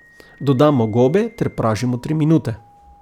Dodamo gobe ter pražimo tri minute.